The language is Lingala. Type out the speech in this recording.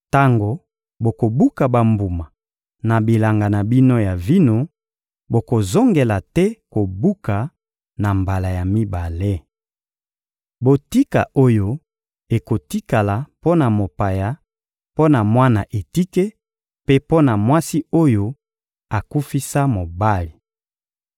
Tango bokobuka bambuma na bilanga na bino ya vino, bokozongela te kobuka na mbala ya mibale. Botika oyo ekotikala mpo na mopaya, mpo na mwana etike mpe mpo na mwasi oyo akufisa mobali.